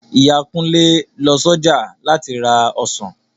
Ìyá Kunle lọ s'ọjà láti ra ọsàn